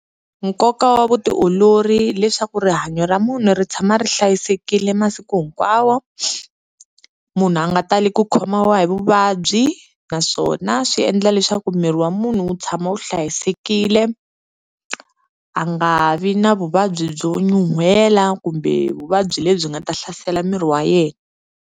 Nkoka wa vutiolori leswaku rihanyo ra munhu ri tshama ri hlayisekile masiku hinkwawo, munhu a nga tali ku khomiwa hi vuvabyi naswona swi endla leswaku miri wa munhu wu tshama wu hlayisekile, a nga vi na vuvabyi byo nyuhela kumbe vuvabyi lebyi nga ta hlasela miri wa yehe.